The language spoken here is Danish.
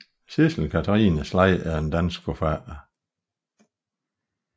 Sidsel Katrine Slej er en dansk forfatter